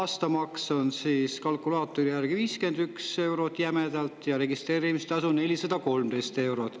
aastamaks kalkulaatori järgi jämedalt 51 eurot ja registreerimistasu 413 eurot.